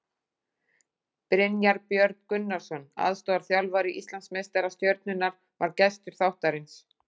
Brynjar Björn Gunnarsson, aðstoðarþjálfari Íslandsmeistara Stjörnunnar, var gestur þáttarins.